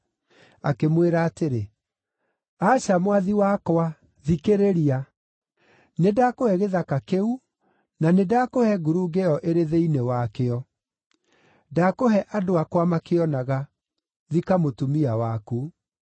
Akĩmwĩra atĩrĩ, “Aca, mwathi wakwa, thikĩrĩria; nĩndakũhe gĩthaka kĩu, na nĩndakũhe ngurunga ĩyo ĩrĩ thĩinĩ wakĩo. Ndakũhe andũ akwa makĩonaga. Thika mũtumia waku.”